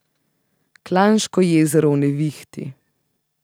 Klanško jezero v nevihti.